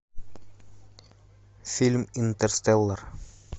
фильм интерстеллар